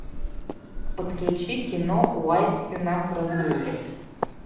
подключи кино уайат сенак разрулит